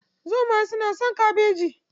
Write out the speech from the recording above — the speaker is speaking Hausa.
Zomaye suna son kabeji.